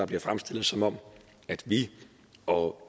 bliver fremstillet som om vi og